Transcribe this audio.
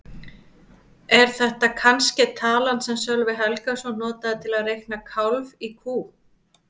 Er þetta kannske talan sem Sölvi Helgason notaði til að reikna kálf í kú?